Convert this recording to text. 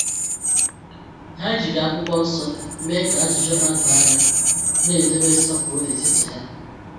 Ha jiri akwụkwọ nsọ mee ka ajụjụ ha doo anya, na-edobe nsọpụrụ n’etiti ha.